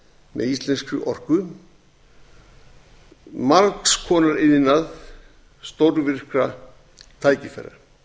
með íslenskri orku margs konar iðnað stórvirkra tækifæra